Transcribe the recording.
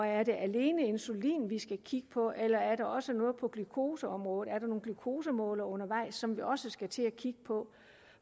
er det alene insulin vi skal kigge på eller er der også noget på glukoseområdet er der nogen glukosemålere undervejs som vi også skal til at kigge på